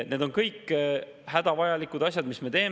Need on kõik hädavajalikud asjad, mida me teeme.